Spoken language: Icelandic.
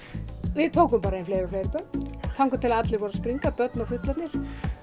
við tókum bara inn fleiri og fleiri börn þangað til að allir voru að springa börn og fullorðnir